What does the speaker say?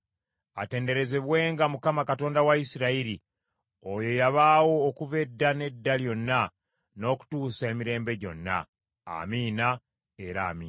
Atenderezebwenga Mukama Katonda wa Isirayiri, oyo eyabaawo okuva edda n’edda lyonna n’okutuusa emirembe gyonna. Amiina era Amiina.